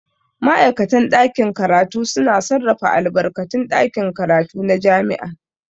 Ma'aikatan ɗakin karatu suna sarrafa albarkatun ɗakin karatu na jami'a.